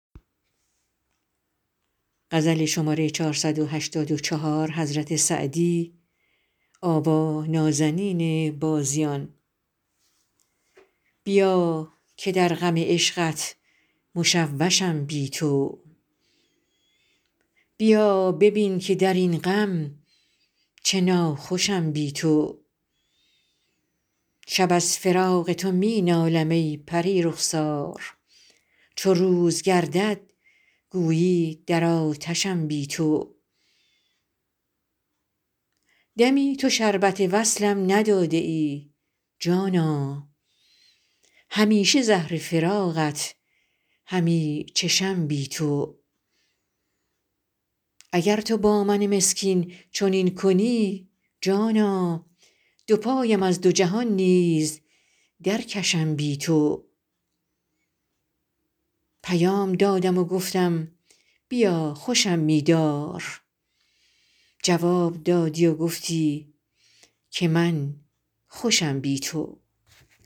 بیا که در غم عشقت مشوشم بی تو بیا ببین که در این غم چه ناخوشم بی تو شب از فراق تو می نالم ای پری رخسار چو روز گردد گویی در آتشم بی تو دمی تو شربت وصلم نداده ای جانا همیشه زهر فراقت همی چشم بی تو اگر تو با من مسکین چنین کنی جانا دو پایم از دو جهان نیز درکشم بی تو پیام دادم و گفتم بیا خوشم می دار جواب دادی و گفتی که من خوشم بی تو